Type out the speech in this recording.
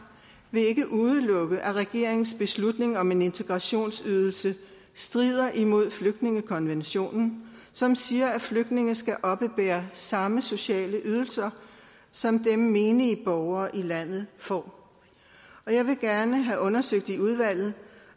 vil ikke udelukke at regeringens beslutning om en integrationsydelse strider imod flygtningekonventionen som siger at flygtninge skal oppebære samme sociale ydelser som dem menige borgere i landet får og jeg vil gerne have undersøgt i udvalget